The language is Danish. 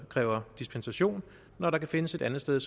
kræves dispensation når der kan findes et andet sted